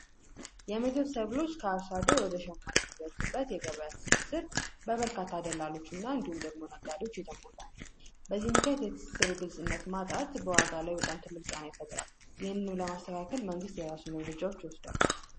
የምግብ ሰብሎች ከአርሶ አደር ወደ ሰማቾች የገበያ ትስስር በበርካታ ደላሎች እና እንዲሁም ደግሞ ነጋዴዎች የተሞላ ነው። በዚህ ምክኛት ማጣት ጫና ይፈጥራል። ይህንንም ለማስተካከል መንግስት የራሱን እርምጃዎች ይወስዳል።